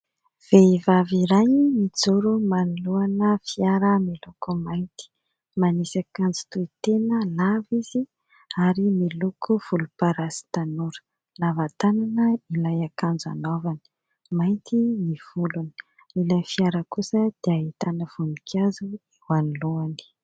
Vehivavy iray mijoro manoloana fiara miloko mainty. Manisy akanjo tohitena lava izy ary miloko volomparasy tanora, lava tànana ilay akanjo anaovany ; mainty ny volony ; ilay fiara kosa dia ahitana voninkazo eo anoloany.